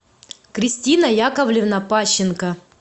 кристина яковлевна пащенко